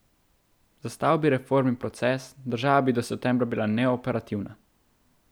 Zastal bi reformni proces, država bi do septembra bila neoperativna.